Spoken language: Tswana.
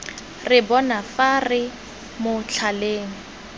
re bona fa re motlhaleng